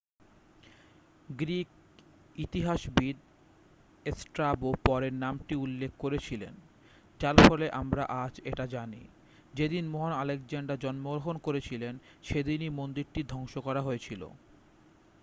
Greek ইতিহাসবিদ Strabo পরে নামটি উল্লেখ করেছিলেন যার ফলে আমরা আজ এটা জানি যেদিন মহান আলেকজান্ডার জন্মগ্রহণ করেছিলন সেদিনই মন্দিরটি ধ্বংস করা হয়েছিল